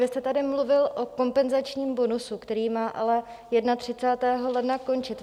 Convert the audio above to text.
Vy jste tady mluvil o kompenzačním bonusu, který má ale 31. ledna končit.